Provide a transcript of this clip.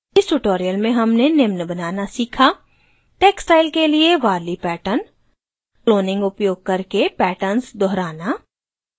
इस tutorial में हमने निम्न बनाना सीखा: